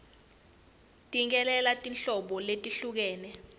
cikelela tinhlobo letehlukene